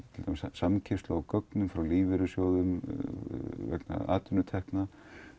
samkeyrslu á gögnum hjá lífeyrissjóðum vegna atvinnutekna